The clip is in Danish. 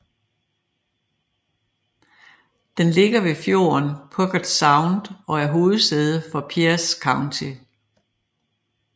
Den ligger ved fjorden Puget Sound og er hovedsæde for Pierce County